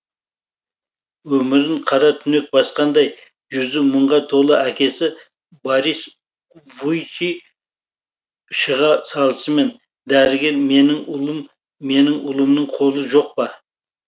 өмірін қара түнек басқандай жүзі мұңға толы әкесі борис вуйчи шыға салысымен дәрігер менің ұлым менің ұлымның қолы жоқ па